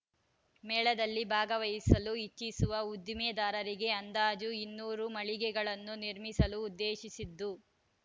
ಮೇಳದಲ್ಲಿ ಭಾಗವಹಿಸಲು ಇಚ್ಚಿಸುವ ಉದ್ದಿಮೆದಾರರಿಗೆ ಅಂದಾಜು ಇನ್ನೂರು ಮಳಿಗೆಗಳನ್ನು ನಿರ್ಮಿಸಲು ಉದ್ದೇಶಿಸಿದ್ದು